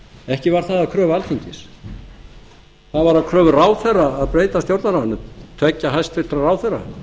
ekki var það að kröfu alþingis það var að kröfu ráðherra að breyta stjórnarráðinu tveggja hæstvirtur ráðherra